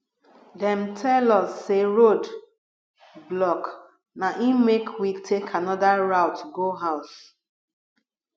dem tell us sey road block na im make we take anoda route go house